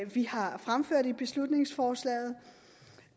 vi har fremført i beslutningsforslaget